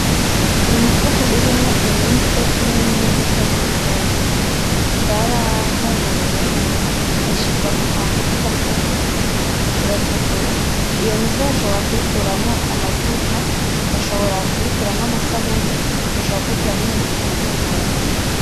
Ni umufuko urimwo imise nimbuto zibigazi. Zarahunguruwe, zishirwa mu kantu kagafuko, iyo mise ishobora kuyikuramwo amavuta, bashobora kuyikuramwo amasabune, bashobora kuyikuramwo ibintu bitandukanye.